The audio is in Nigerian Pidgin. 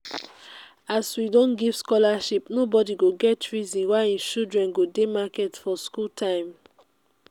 as we don give scholarship nobodi go get reason why im children go dey market for skool time